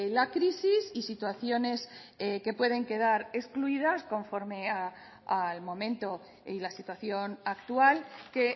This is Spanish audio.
la crisis y situaciones que pueden quedar excluidas conforme al momento y la situación actual que